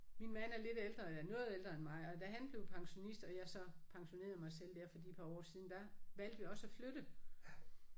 Min mand er lidt ældre eller noget ældre end mig og da han blev pensionist og jeg så pensionerede mig selv der for de par år siden der valgte vi også at flytte